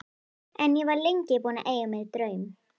En ég var lengi búin að eiga mér draum.